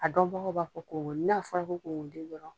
A dɔnbagaw b'a ko n'a fɔra ko kunkolo den dɔrɔn